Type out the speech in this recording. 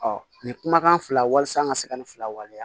nin kumakan fila walimasa n ka se ka nin fila waleya